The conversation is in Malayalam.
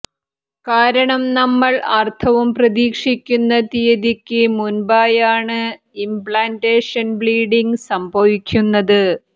കാരണം നമ്മൾ ആർത്തവം പ്രതീക്ഷിക്കുന്ന തീയ്യതിക്ക് മുൻപായാണ് ഇംപ്ലാന്റേഷൻ ബ്ലീഡിംങ് സംഭവിക്കുന്നത്